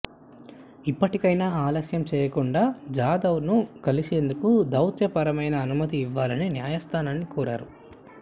ఇప్పటికైనా ఆలస్యం చేయకుండా జాదవ్ను కలిసేందుకు దౌత్యపరమైన అనుమతి ఇవ్వాలని న్యాయస్థానాన్ని కోరారు